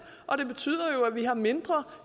og det betyder jo at vi har mindre